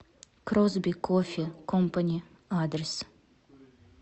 кросби кофе компани адрес